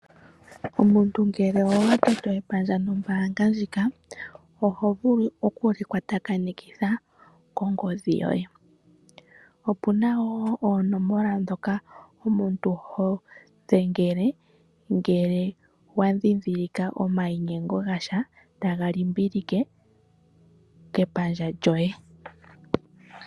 Omuntu ngele owatoto epandja nombaanga ndjika oho vulu okulikwatakanitha kongodhi yoye. Opuna wo oonomola ndhoka omuntu hodhengele ngele wandhindhilika omainyengo gasha taga limbilike kepandja lyoye.